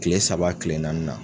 Kile saba kile naaninan